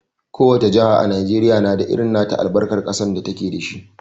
Ko wace jaha a Najeriya na da irin nata albarkar ƙasar da ta ke da shi.